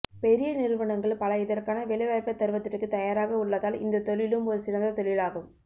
பெரிய நிறுவனங்கள் பல இதற்கான வேலைவாய்ப்பைத் தருவதற்குத் தயாராக உள்ளதால் இந்தத் தொழிலும் ஒரு சிறந்த தொழில் ஆகும்